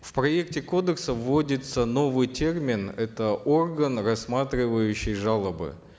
в проекте кодекса вводится новый термин это орган рассматривающий жалобы